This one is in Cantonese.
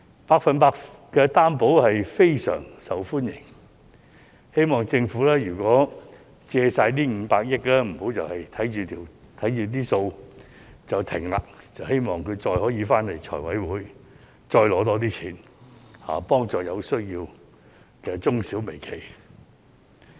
"百分百擔保特惠貸款"非常受歡迎，希望政府在借出500億元後，不要只看着帳目便暫停，希望會再回到立法會財務委員會申請更多撥款，幫助有需要的中小微企。